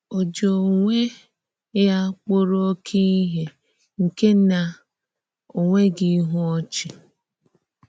Ò jí onwé ya kpụ̀rọ̀ òké ìhè nke na ò nweḡhị íhù ọ́chị?